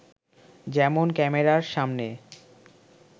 যেমন ক্যামেরার সামনে